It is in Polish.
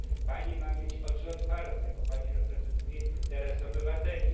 Pani ma mieć oczy otwarte, bo Pani reprezentuje interes obywateli!